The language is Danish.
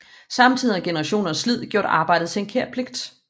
Samtidig har generationers slid gjort arbejde til en kær pligt